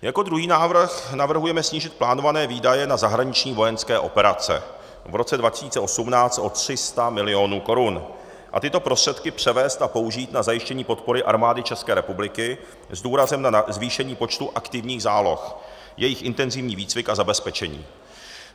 Jako druhý návrh navrhujeme snížit plánované výdaje na zahraniční vojenské operace v roce 2018 o 300 milionů korun a tyto prostředky převést a použít na zajištění podpory Armády České republiky s důrazem na zvýšení počtu aktivních záloh, jejich intenzivní výcvik a zabezpečení.